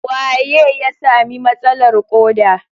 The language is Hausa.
Waye ya sami matsalar ƙoda?